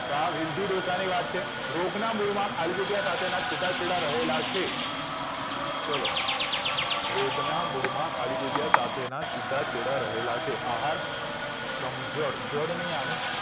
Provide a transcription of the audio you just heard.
તો આ બીરજી ડોશાને વાત છે રોગના મુડમાં માં ખાલી જગ્યા ના છુટા છેડા રહેલા છે ચલો રોગના મુડમાં ખાલી જગ્યા સાથેના છુટા છેડા રહેલા છે આહાર સમજડ જડ નહિ આવે